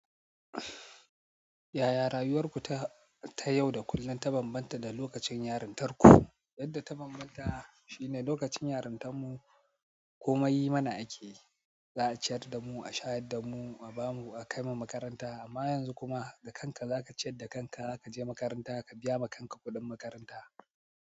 Yaya rayuwarku ta yau da kullum ta bambanta da lokacin yarintarku? Yadda ta bambanta shine lokacin yarintan mu, komai yi mana ake, za a ciyar da mu, a shayar da mu, a ba mu, a kai mu makaranta amma yanzu kuma da kanka za ka ciyar da kanka, za ka je makaranta, ka biya ma kanka kuɗin makaranta.